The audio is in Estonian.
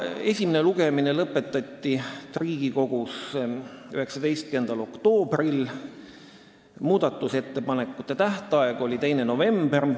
Esimene lugemine lõpetati Riigikogus 19. oktoobril, muudatusettepanekute esitamise tähtaeg oli 2. november.